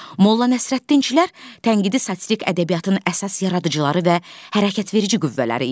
Molla Nəsrəddinçilər tənqidi satirik ədəbiyyatın əsas yaradıcıları və hərəkətverici qüvvələri idilər.